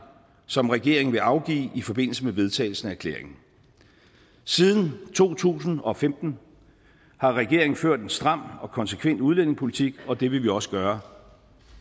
som regeringen vil afgive i forbindelse med vedtagelse af erklæringen siden to tusind og femten har regeringen ført en stram og konsekvent udlændingepolitik og det vil vi også gøre